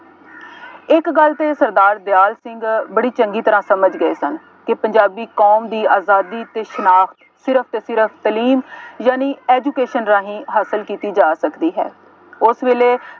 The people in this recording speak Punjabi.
ਇੱਕ ਗੱਲ ਤੇ ਸਰਦਾਰ ਦਿਆਲ ਸਿੰਘ ਬੜੀ ਚੰਗੀ ਤਰ੍ਹਾਂ ਸਮਝ ਗਏ ਸਨ ਕਿ ਪੰਜਾਬੀ ਕੌਮ ਦੀ ਆਜ਼ਾਦੀ ਅਤੇ ਸਿਰਫ ਅਤੇ ਸਿਰਫ ਤਾਲੀਮ ਯਾਨੀ education ਰਾਹੀਂ ਹਾਸਿਲ ਕੀਤੀ ਜਾ ਸਕਦੀ ਹੈ। ਉਸ ਵੇਲੇ